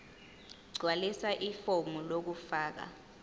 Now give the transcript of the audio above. gqwalisa ifomu lokufaka